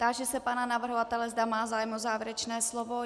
Táži se pana navrhovatele, zda má zájem o závěrečné slovo.